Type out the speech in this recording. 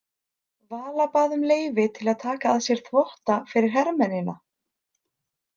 Vala bað um leyfi til að taka að sér þvotta fyrir hermennina.